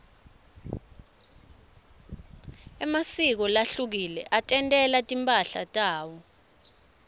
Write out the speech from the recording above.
emasiko lahlukile atentela timphahla tawo